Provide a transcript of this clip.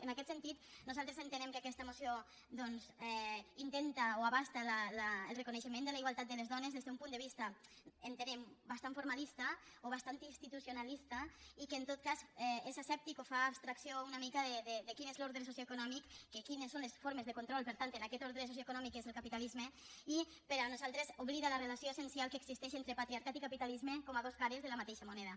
en aquest sentit nosaltres entenem que aquesta moció doncs intenta o abasta el reconeixement de la igualtat de les dones des d’un punt de vista entenem bastant formalista o bastant institucionalista i que en tot cas és asèptic o fa abstracció una mica de quin és l’ordre socioeconòmic de quines són les formes de control per tant en aquest ordre socioeconòmic que és el capitalisme i per nosaltres oblida la relació essencial que existeix entre patriarcat i capitalisme com a dos cares de la mateixa moneda